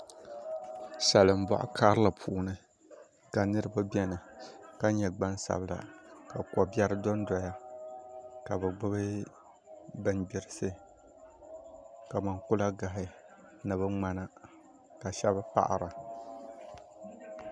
Salin boɣa karili puuni ka niraba biɛni ka nyɛ gbansabila ka ko biɛri dondoya ka bi gbubi bingbirisi kamani kulagahi ni bi ŋmana ka shab paɣara